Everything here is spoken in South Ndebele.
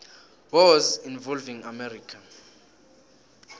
wars involving america